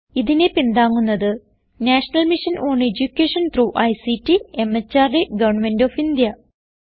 ഇതിനെ പിന്താങ്ങുന്നത് national mission on education through ICT MHRD government of India